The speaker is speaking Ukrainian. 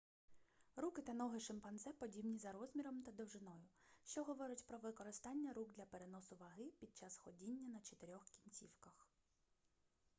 руки та ноги шимпанзе подібні за розміром та довжиною що говорить про використання рук для переносу ваги під час ходіння на чотирьох кінцівках